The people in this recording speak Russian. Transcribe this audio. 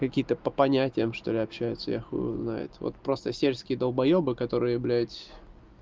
какие-то по понятиям что-ли общаются я хуй его знает вот просто сельские долбоёбы которые блядь